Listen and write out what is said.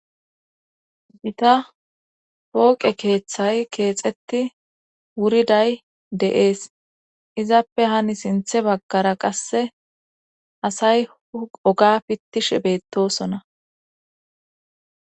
gita pooqe keeththay keexetti wuriday de'ees izappe hani sinthe baggara qasse asay oga pittishe beettosona